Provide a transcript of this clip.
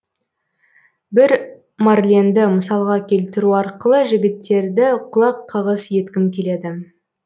бір марленді мысалға келтіру арқылы жігіттерді құлаққағыс еткім келеді